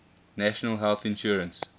national health insurance